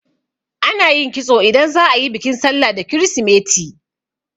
Ana yin kitso idan za'a yi bikin sallah da kirisimeti.